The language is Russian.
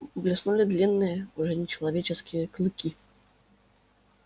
блеснули длинные уже нечеловеческие клыки